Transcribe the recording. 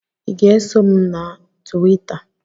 I ga-eso m na Tuwita?